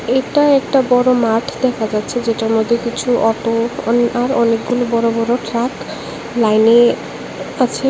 এটা একটা বড় মাঠ দেখা যাচ্ছে যেটার মধ্যে কিছু অটো আর অনেকগুলি বড় বড় ট্রাক লাইনে আছে।